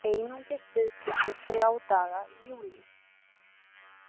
Einungis viðskipti þrjá daga í júlí